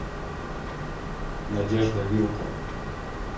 надежда вилкова